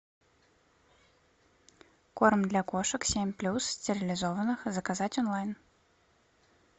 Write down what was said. корм для кошек семь плюс стерилизованных заказать онлайн